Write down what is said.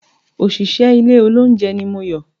Òṣìṣẹ́ ilé olóúnjẹ ni Moyò